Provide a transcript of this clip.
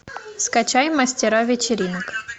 скачай мастера вечеринок